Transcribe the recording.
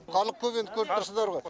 халық көп енді көріп тұрсыздар ғой